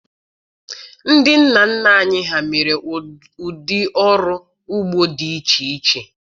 Ndị nna nna anyị ha mere ụdị ọrụ ugbo dị iche iche